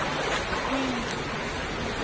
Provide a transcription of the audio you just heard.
kwindla